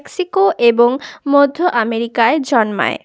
Mexico এবং মধ্য আমেরিকায় জন্মায়।